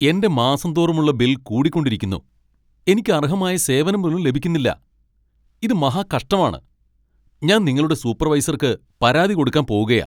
എന്റെ മാസം തോറുമുള്ള ബിൽ കൂടിക്കൊണ്ടിരിക്കുന്നു., എനിക്ക് അർഹമായ സേവനം പോലും ലഭിക്കുന്നില്ല. ഇത് മഹാകഷ്ടമാണ്. ഞാൻ നിങ്ങളുടെ സൂപ്പർവൈസർക്ക് പരാതി കൊടുക്കാൻ പോകുകയാ .